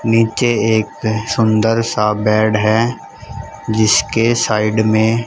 नीचे एक सुंदर सा बेड है जिसके साइड में--